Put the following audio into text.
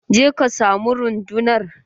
Je ka samu rundunar!